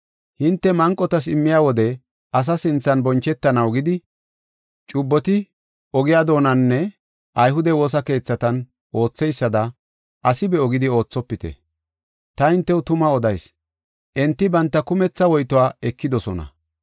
“Hinte manqotas immiya wode asa sinthan bonchetanaw gidi cubboti ogiya doonaninne ayhude woosa keethatan ootheysada asi be7o gidi oothopite. Ta hintew tuma odayis; enti banta kumetha woytuwa ekidosona.